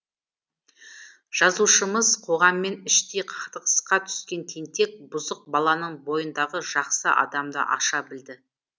жазушымыз қоғаммен іштей қақтығысқа түскен тентек бұзық баланың бойындағы жақсы адамды аша білді